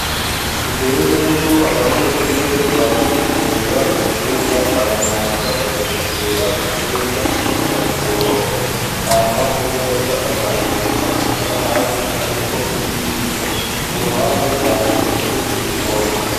Imbere yuko abanyeshure baza gufungura mu cumba baramanza bagategura intebe bakazishira ku murongo hama kumeza bakatereka amasahani ariko n'ibiyiko ku ruhande bahateretse n'ibikombe.